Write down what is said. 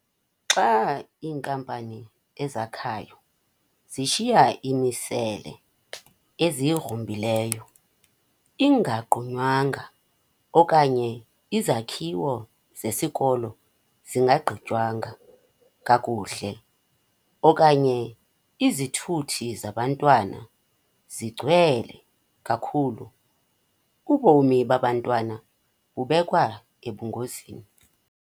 Xa iinkampani ezakhayo zishiya imisele eziyigrumbileyo ingagqunywanga okanye izakhiwo zesikolo zingagqitywanga kakuhle okanye izithuthi zabantwana zigcwele kakhulu, ubomi babantwana bubekwa ebungozini.